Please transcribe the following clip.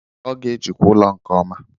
Ọ ga-ejikwa ụlọ nke ọma.